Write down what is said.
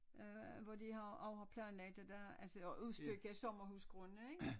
Øh hvor de har også har planlagt at der altså at udstykke sommerhusgrunde ik